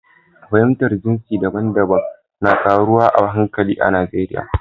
Fahimtar jinsi daban-daban na ƙaruwa a hankali a Najeriya.